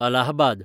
Allahabad